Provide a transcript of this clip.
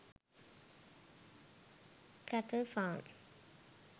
cattle farm